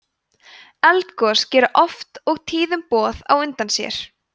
eldgos gera oft og tíðum boð á undan sér